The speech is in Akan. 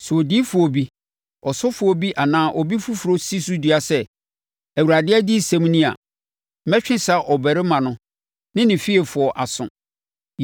Sɛ odiyifoɔ bi, ɔsɔfoɔ bi anaa obi foforɔ si so dua sɛ, ‘ Awurade adiyisɛm ni’ a, mɛtwe saa ɔbarima no ne ne fiefoɔ aso.